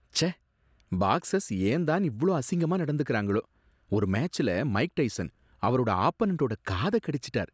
ச்சே, பாக்ஸர்ஸ் ஏன் தான் இவ்ளோ அசிங்கமா நடந்துக்கறாங்களோ! ஒரு மேட்ச்ல மைக் டைசன் அவரோட ஆப்பனன்டோட காத கடிச்சிட்டார்.